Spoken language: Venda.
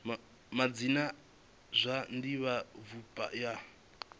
madzina a zwa divhavhupo ya